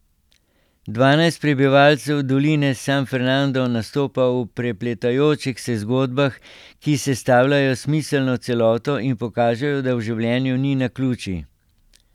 Dvanajst prebivalcev doline San Fernando nastopa v prepletajočih se zgodbah, ki sestavljajo smiselno celoto in pokažejo, da v življenju ni naključij.